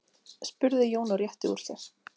spurði Jón og rétti úr sér.